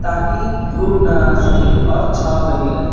ताकि धूप ना सके और छांव बनी रहे--